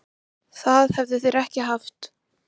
Það hefðu þeir ekki haft